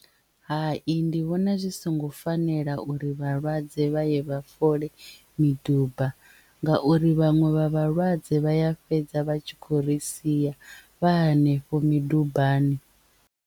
Hai ndi vhona zwi songo fanela uri vhalwadze vha ye vha fole miduba ngauri vhaṅwe vha vhalwadze vha ya fhedza vha tshi khou ri sia vha hanefho midubani.